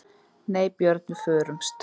Nei Björn, við förumst.